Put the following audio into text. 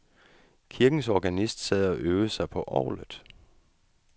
Kirkens organist sad og øvede sig på orglet.